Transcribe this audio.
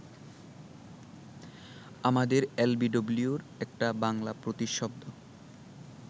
আমাদের এলবিডব্লিউর একটা বাংলা প্রতিশব্দ